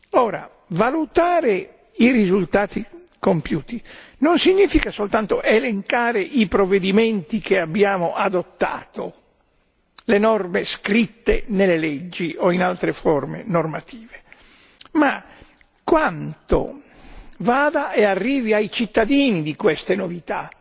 Ora, valutare i risultati compiuti non significa soltanto elencare i provvedimenti che abbiamo adottato, le norme scritte nelle leggi o in altre forme normative, ma quanto vada e arrivi ai cittadini di queste novità.